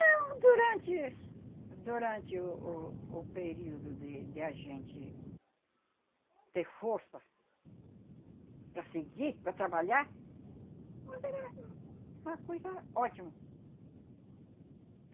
Não, durante... Durante o o o período de de a gente ter força para seguir, para trabalhar, mas era uma coisa ótima.